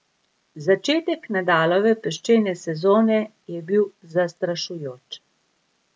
Začetek Nadalove peščene sezone je bil zastrašujoč.